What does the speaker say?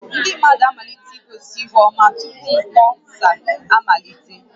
Ndị mmadụ amalitela igosi ihu ọma tupu mkpọsa amalite